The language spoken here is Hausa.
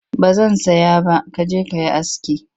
Ba zan saya ba ka je ka yi aski